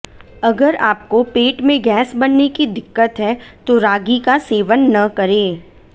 अगर आपको पेट में गैस बनने की दिक्कत है तो रागी का सेवन न करें